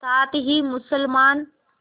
साथ ही मुसलमान